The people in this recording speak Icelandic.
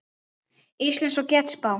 Íslensk getspá.